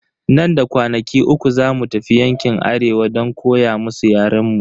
Nan da kwanaki uku zamu tafi yankin arewa don koya musu yaren mu.